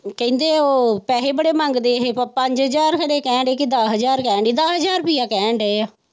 ਕਹਿੰਦੇ ਉਹ ਪੈਸੇ ਬੜੇ ਮੰਗਦੇ ਨੇ ਪੰਜ ਹਜਾਰ ਖਰੇ ਕਹਿਣ ਦੇ ਕਿ ਦਸ ਹਜਾਰ ਕਹਿਣ ਦੇ ਦਸ ਹਜਾਰ ਰੁਪਿਆ ਕਹਿਣ ਦੇ ਹੈ।